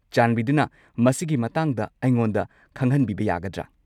ꯆꯥꯟꯕꯤꯗꯨꯅ ꯃꯁꯤꯒꯤ ꯃꯇꯥꯡꯗ ꯑꯩꯉꯣꯟꯗ ꯈꯪꯍꯟꯕꯤꯕ ꯌꯥꯒꯗ꯭ꯔꯥ?